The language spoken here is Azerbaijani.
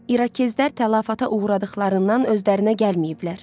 İrokezlər təlafatə uğradıqlarından özlərinə gəlməyiblər.